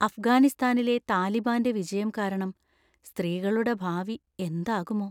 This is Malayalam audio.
അഫ്ഗാനിസ്ഥാനിലെ താലിബാന്‍റെ വിജയം കാരണം സ്ത്രീകളുടെ ഭാവി എന്താകുമോ!